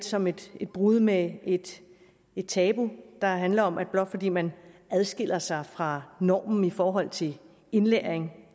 som et brud med et tabu der handler om at blot fordi man adskiller sig fra normen i forhold til indlæring